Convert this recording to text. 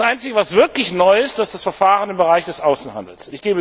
Das Einzige, was wirklich neu ist, ist das Verfahren im Bereich des Außenhandels.